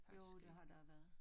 Jo det har der været